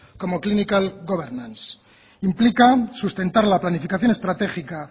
como clinical governance implica sustentar la planificación estratégica